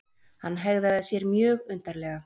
Hann hegðaði sér mjög undarlega.